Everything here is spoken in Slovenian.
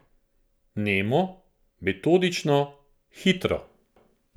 Nemo, metodično, hitro.